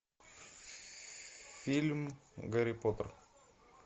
фильм гарри поттер